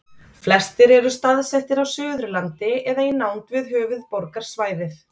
Flestir eru staðsettir á Suðurlandi eða í nánd við höfuðborgarsvæðið.